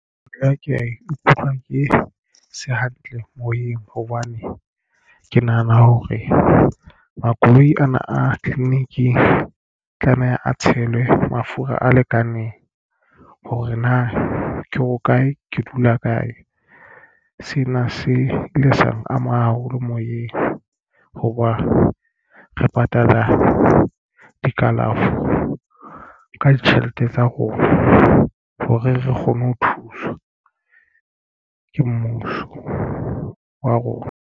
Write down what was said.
Nka ke ya ikutlwa ke se hantle moyeng hobane ke nahana hore makoloi ana a tleliniking tlameha a tshelwe mafura a lekaneng hore na ke hokae ke dula kae sena se ile sa ama haholo moyeng hoba re patala dikalafo ka ditjhelete tsa rona hore re kgone ho thuswa ke mmuso wa rona.